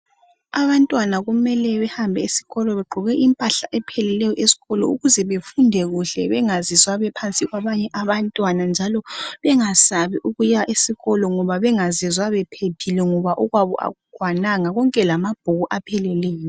Abantwana kumele bahambe esikolo begqoke impala epheleleyo esikolo ukuze befunde kuhle bengazizwa bephansi kwabanye abantwana njalo bengasabi ukuya esikolo ngoba bengazizwa bephephile ngoba okwabo okukwananga konke lamabhuku epheleleyo.